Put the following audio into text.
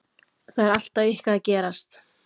Það er alltaf eitthvað að gerast.